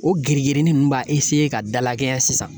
O girigirinin ninnu b'a ka dalakɛɲɛ sisan